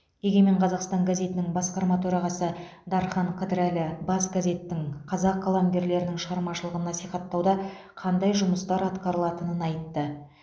егемен қазақстан газетінің басқарма төрағасы дархан қыдырәлі бас газеттің қазақ қаламгерлерінің шығармашылығын насихаттауда қандай жұмыстар атқарылатынын айтты